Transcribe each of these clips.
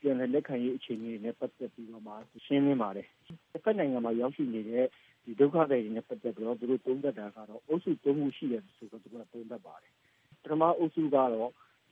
ပြန်လည်လက်ခံရေးအခြေအနေနဲ့ ပတ်သက်ပြီးတော့ ရှင်းလင်းပါတယ်။ တဖက်နိုင်ငံမှာ ရောက်ရှိနေတဲ့ ဒုက္ခသည်တွေနဲ့ တွေ့တဲ့အခါ အုပ်စု ၃ ခုရှိတယ်ဆိုပြီးတော့ သူတို့သုံးသပ်တယ်။ ပထမအုပ်စုကတော့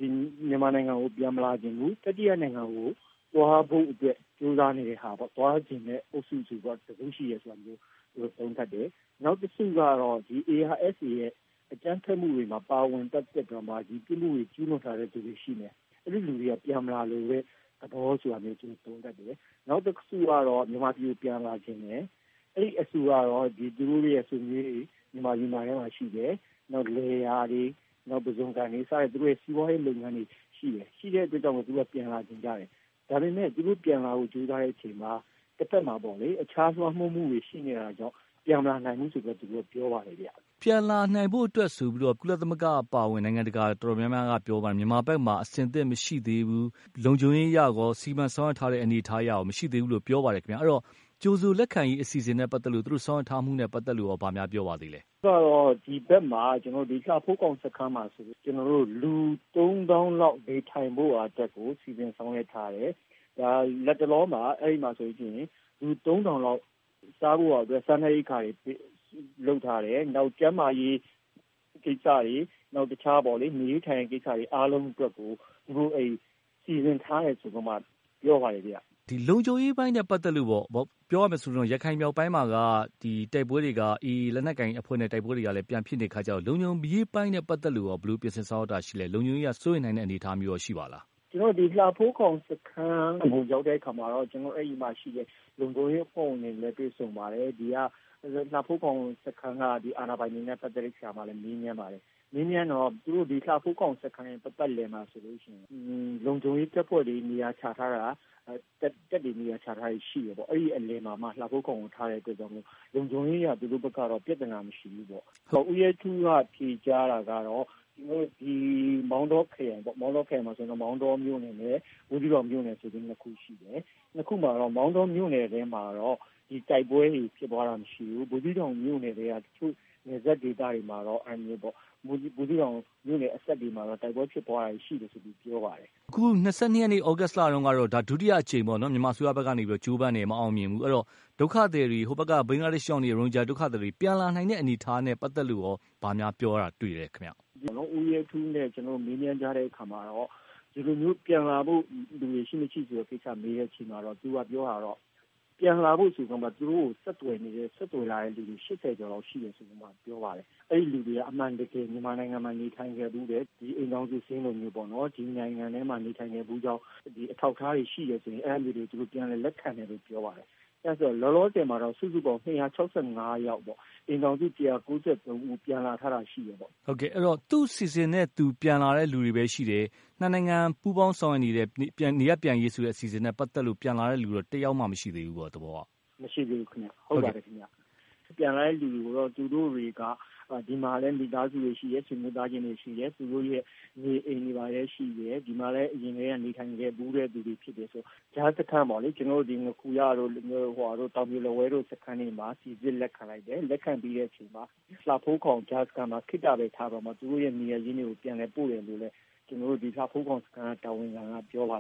မြန်မာနိုင်ငံကို ပြန်မလာချင်ဘူး ၊ တတိယနိုင်ငံကို သွားဖို့အတွက် ကြိုးစားနေတဲ့ သွားချင်တဲ့ အုပ်စု ဆိုပြီးတော့ ရှိတယ်လို့ သူတို့သုံးသပ်တယ်။ နောက်တစုက ARSA အကြမ်းဖက်မှုတွေမှာ ပါဝင်ပတ်သက်ပြီးတော့ ပြစ်မှုကျူးလွန်ထားတဲ့ သူတွေ ရှိမယ်။ အဲဒီလူတွေက ပြန်မလာလိုတဲ့ သဘောလို့ သုံးသပ်တယ်။ နောက်တစုကတော့ မြန်မာပြည်ကို ပြန်လာချင်တယ်။ အဲဒီအစုကတော့ သူတို့ဆွေမျိုးတွေလည်း မြန်မာပြည်မှာရှိတယ်။ နောက်လယ်ယာတွေ၊ ပုဇွန်ကန်တွေ စတဲ့ သူတို့ရဲ့ စီးပွားရေးလုပ်ငန်းတွေ ရှိတယ် ၊ ရှိတဲ့အတွက် သူတို့က ပြန်လာချင်ကြတယ်။ ဒါပေမယ့် သူတို့က ပြန်လာဖို့ ကြိုးစားတဲ့အချိန်မှာ တဖက်မှာ အခြားလွှမ်းမိုးမှုတွေ ရှိတာကြောင်း ပြန်မလာနိုင်ဘူးဆိုပြီးတော့ သူတို့ပြောပါတယ်။ ပြန်လာဖို့ဆိုပြီးတော့ ကုလအပါအဝင် နိုင်ငံတကာ တော်တော်များများက ပြောပါတယ်။ မြန်မာဘက်မှာ အဆင်သင့်မရှိသေးဘူး လုံခြုံရေးအရရော စီးပွားရေးအရရော စီမံဆောင်ရွက်ထားတဲ့အနေအထားမရှိသေးဘူးလို့ပြောပါတယ်။ အဲဒီတော့ ကြိုဆိုလက်ခံရေးအစီအစဉ်နဲ့ ပတ်သက်လို့ သူတို့ဆောင်ရွက်ထားတာနဲ့ ပတ်သက်လို့ ဘာများပြောပါသေးသလဲ။ လှဖိုးခေါင် စခန်းမှာဆိုရင် လူ ၃ သောင်းလောက် နေထိုင်ဖို့အတွက်ကို စီစဉ်ဆောင်ရွက်ထားတယ်။ လက်တလောမှာ လူ ၃ထောင်လောက် စားဖို့အတွက် စားနပ်ရိက္ခာတွေ လုပ်ထားတယ်။ နောက်ကျန်းမာရေးကိစ္စတွေ တခြား နေရေးထိုင်ရေးကိစ္စတွေ အားလုံးအတွက်ကို သူတို့စီစဉ်ထားတယ်ဆိုပြီးတော့မှ ပြောပါတယ်။ လုံခြုံရေးအပိုင်းနဲ့ ပတ်သက်လို့ရော ရခိုင်မြောက်ပိုင်းမှာက AA လက်နက်ကိုင်အဖွဲ့နဲ့ တိုက်ပွဲတွေ ပြန်ဖြစ်နေတဲ့အခါကျတော့ လုံခြုံရေးအပိုင်းနဲ့ ပတ်သက်လို့ရော ဘယ်လိုပြင်ဆင်ဆောင်ရွက်တာရှိလဲ။ လုံခြုံရေးက စိုးရိမ်နိုင်တဲ့အနေအထားရော ရှိပါသလား။ ကျနော်တို့ လှဖိုးခေါင်စခန်းကို ရောက်တဲ့အခါမှာတော့ အဲဒီမှာရှိတဲ့ လုံခြုံရေး အဖွဲ့ဝင်တွေနဲ့ တွေ့ဆုံပါတယ်။ လှဖိုးခေါင်စခန်းက အာဏာပိုင်တွေကိုလည်းမေးမြန်းပါတယ်။ မေးတော့ လှဖိုးခေါင်စခန်းပတ်ပတ်လည်မှာဆိုရင် လုံခြုံရေး အဖွဲ့ဝင်တွေနေရာချထားတာ တပ်တွေနေရာချထားတာ ရှိတယ်ပေါ့ အဲဒီအလယ်မှာမှ လှဖိုးခေါင်စခန်းကိုထားတဲ့အတွက် လုံခြုံရေးအရကတော့ သူတို့ဘက်က ပြဿနာမရှိဘူးပေါ့။ ဦးရဲထူးက ဖြေကြားတာကတော့ မောင်တောခရိုင်မှာ မောင်တောမြို့နယ်နဲ့ ဘူးသီးတောင်မြို့နယ်ဆိုပြီးတော့ ၂ ခုခွဲထားတယ်။ အဲဒီ ၂ ခုမှာ မောင်တောမှာတော့ တိုက်ပွဲဖြစ်ပွားတာမရှိဘူး။ ဘူးသီးတောင်မြို့နယ်ထဲက တချို့နယ်စပ်ဒေသတွေမှာတော့ ဘူးသီးတောင်အနီးတဝိုက်ဒေသမှာတော့ တိုက်ပွဲဖြစ်ပွားတာရှိတယ်လို့ ပြောပါတယ်။ အခု ၂၂ သြဂုတ်လတုန်းက ဒုတိယအကြိမ်ပေါ့နော် မြန်မာအစိုးရ ကနေကြိုးပမ်းတယ် မအောင်မြင်ဘူး။ အဲဒီတော့ ဘင်္ဂလားဒေ့ရှ်ဘက်ရောက်နေတဲ့ ရိုဟင်ဂျာဒုက္ခသည်တွေ ပြန်လာနိုင်တဲ့အနေအထားနဲ့ ပတ်သက်လို့ ဘာများပြောတာတွေ့သလဲခင်ဗျ။ ကျနော်တို့ ဦးရဲထူးနဲ့ မေးမြန်းတဲ့အခါမှာ ဒီလိုပြန်လာဖို့ လူတွေရှိ မရှိဆိုတဲ့ မေးမြန်းတဲ့အခါ သူပြောတာကတော့ ပြန်လာဖို့ဆိုပြီး သူ့ကို ဆက်သွယ်လာတဲ့လူ ၈၀ ကျော်လောက်ရှိတယ်ဆိုပြီးမှ ပြောတယ်။ အဲဒီလူတွေက အမှန်တကယ် မြန်မာနိုင်ငံမှာ နေထိုင်ခဲ့ဖူးတယ်။ မြန်မာနိုင်ငံမှာ နေထိုင်ခဲ့ဖူးကြောင်း အထောက်အထားတွေ ရှိတယ်ဆိုပြီး အဲဒါမျိုးတွေကို သူတို့ ပြန်လည်လက်ခံဖို့အတွက် ပြောပါတယ်။ လောလောဆည်မှာတော့ စုစုပေါင်း ၂၆၅ ယောက်ပေါ့ အိမ်ထောင်စု ၁၃၉ ဦးပြန်ထားတာရှိတယ်ပေါ့။ ဟုတ်ကဲ့အဲဒီတော့ သူ့အစီအစဉ်နဲ့ သူ ပြန်လာတာပဲရှိတယ် ၂ နိုင်ငံ ပူးပေါင်း ဆောင်ရွက်နေတဲ့ နေရပ်ပြန်ရေးဆိုတဲ့ အစီအစဉ်နဲ့ ပတ်သက်လို့ ပြန်လာတာ တယောက်မှ မရှိသေးဘူးပေါ့။ မရှိသေးဘူးခင်ဗျ။ ပြန်လာတဲ့သူတွေကို သူတို့တွေက ဒီမှာလည်း မိသားစုတွေရှိတယ် ဆွေမျိုးသားချင်းတွေရှိတယ်။ သူတို့ရဲ့ နေအိမ်တွေလည်းရှိတယ် ဒီမှာလည်း အရင်က နေထိုင်ခဲ့ဖူးတဲ့ သူတွေဖြစ်တယ်ဆိုတော့ ကြားစခန်းပေါ့လေ ငါးခူရတို့ တောင်ပြိုလက်ဝဲတို့ စခန်းတွေမှာ စိစစ်လက်ခံလိုက်တယ်။ လက်ခံပြီးတဲ့အချိန် လှဖိုးခေါင်ကြားစခန်းမှာ ခေတ္တထားပြီးတော့ သူတို့ နေရပ်ရင်းတွေကိုလည်း ပြန်ပို့တယ်လို့ လှဖိုးခေါင်စခန်းတာဝန်ခံက ပြောပါ